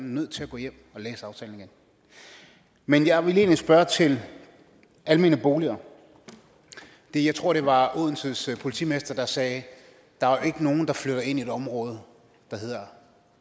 nødt til at gå hjem og læse aftalen igen men jeg vil egentlig spørge til almene boliger jeg tror det var odenses politimester der sagde der er jo ikke nogen der flytter ind i et område